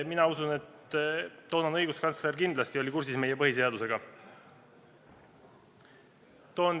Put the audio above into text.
" Mina usun, et toonane õiguskantsler oli kindlasti kursis meie põhiseadusega.